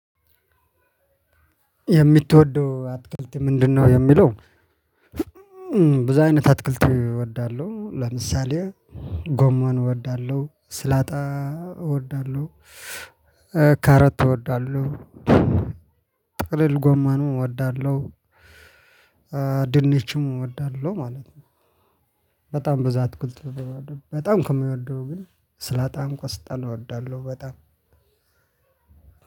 የምትወደው አትክልት ምንድነው? የሚለው በዙ አይነት አትክልት እወዳለሁ። ለምሳሌ ጎመን እወዳለሁ ስላጣ እወዳለሁ። ካሮት እወዳለሁ። ጥቅልል ጎማኑ እወዳለሁ። ድንችም እወዳለሁ ማለት ነው። በጣም ብዙ አትክልት በጣም ከምወደው ግን ስላጣም ቆስጣን እወዳለሁ። በጣም